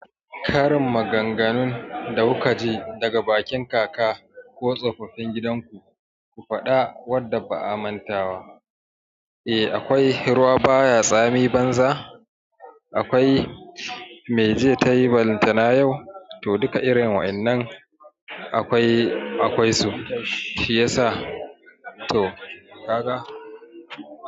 Karin maganganun da kukaji daga bakinka ko tsofaffin eh akwai ruwa baya tsami banza akwai me jiya tayi ballantana yau to duka irin wainnan akwai akwai su. Shi yasa to kaga.